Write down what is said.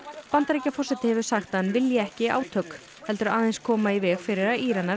Bandaríkjaforseti hefur sagt að hann vilji ekki átök heldur aðeins koma í veg fyrir að Íranar